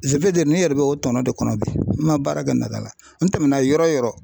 ne yɛrɛ bɛ o tɔnɔ de kɔnɔ bi n ma baara kɛ nata la n tɛmɛna yɔrɔ o yɔrɔ